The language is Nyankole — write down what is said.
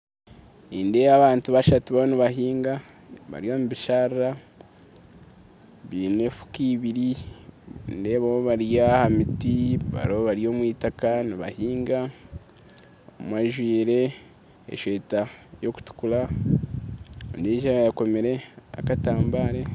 Nindeeba abantu bashatu bariyo nibahinga bari omubisharara baine efuka ibiri nindeebaho bari ahamiti bariyo bari omu itaka nibahinga, omwe ajwaire eshweta erikutukura ondijo akomire akatambare.